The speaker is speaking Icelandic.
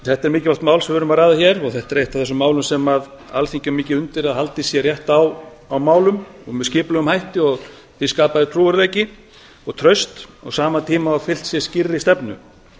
þetta er mikilvægt mál sem við erum að ræða hér og þetta er eitt af þessum málum sem alþingi á mikið undir að haldið sé rétt á málum og með skipulegum hætti og því skapaður trúverðugleiki og traust á sama tíma og fylgt er skýrri stefnu